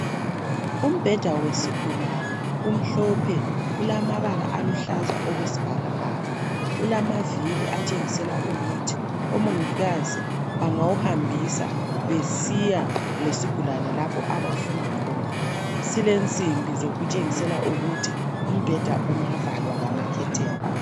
Umbheda wesigulane umhlophe ulamabala aluhlaza okwesbhakabhaka, ulamaviri atshengisela ukuthi omongikazi bangawuhambisa besiya lesigulane lapho abafuna khona. Silensimbi zokutshengisela ukuthi umbheda ungavalwa ngamakhetheni.